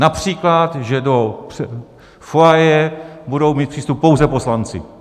například že do foyeru budou mít přístup pouze poslanci.